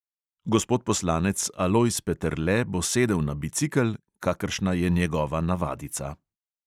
Gospod poslanec alojz peterle bo sedel na bicikel, kakršna je njegova navadica.